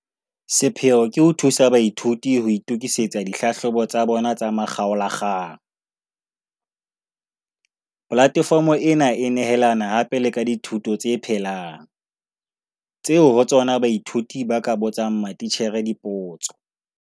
Sepheo ke ho thusa baithuti ho itokisetsa dihlahlobo tsa bona tsa makgaola kgang. Polatefomo ena e nehelana hape le ka dithuto tse phelang, tseo ho tsona baithuti ba ka botsang matitjhere dipotso.